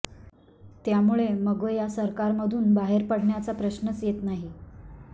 त्यामुळे मगो या सरकारमधून बाहेर पडण्याचा प्रश्नच येत नाही